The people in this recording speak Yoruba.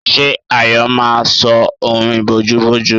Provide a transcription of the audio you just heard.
Ṣé Ayọ̀ máa sọ orin bojúbojú?